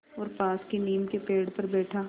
और पास की नीम के पेड़ पर बैठा